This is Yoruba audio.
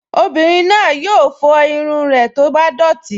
Obìnrin náà yóò fọ irun rẹ̀ tó bá dọ̀tí